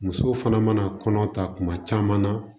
Muso fana mana kɔnɔ ta kuma caman na